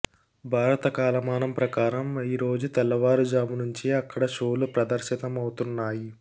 భారత కాలమానం ప్రకారం ఈరోజు తెల్లవారుజాము నుంచే అక్కడ షోలు ప్రదర్శితమవుతున్నాయి